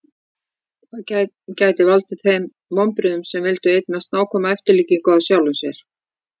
það gæti valdið þeim vonbrigðum sem vildu eignast nákvæma eftirlíkingu af sjálfum sér